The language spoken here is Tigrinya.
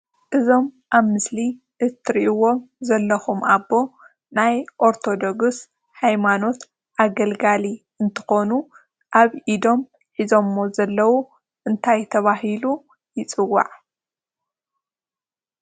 እዞም አብ ምስሊ እትሪኢዎ ዘለኩም አቦ ናይ አርቶዶክስ ሃይማኖት አገልጋሊ እንትኮኑ አብ ኢዶም ሒዞሞ ዘለው እንታይ ተባሂሉ ይፅዋዕ?